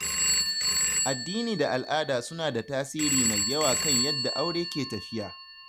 Addini da al’ada suna da tasiri mai yawa kan yadda aure ke tafiya.